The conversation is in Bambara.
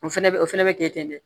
O fɛnɛ bɛ o fɛnɛ bɛ kɛ ten de